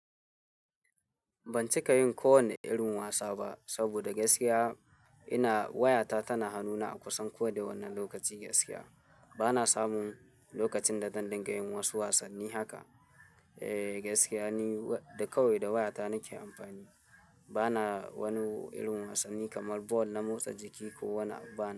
Ban cika yin kowane irin wasa ba saboda gaskiya ina wayata tana hanuna a kusan ko da wanne lokaci gaskiya. Bana samun lokacin da dan dinga yin wasu wasanni haka. Eh gaskiya ni da kawai da wayata nake amfani. Bana wani irin wasanni kamar bol na motsa jiki ko wani abu bana.